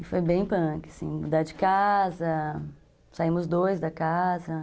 E foi bem punk, assim, mudar de casa, saímos dois da casa.